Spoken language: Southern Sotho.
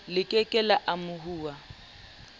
le ke ke la amohuwa